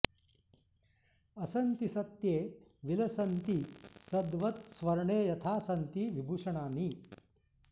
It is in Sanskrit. असन्ति सत्ये विलसन्ति सद्वत् स्वर्णे यथा सन्ति विभूषणानि